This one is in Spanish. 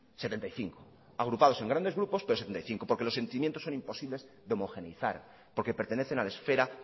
setenta y cinco agrupados en grandes grupos pero setenta y cinco porque los sentimientos son imposibles de homogeneizar porque pertenecen a la esfera